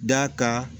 Da ka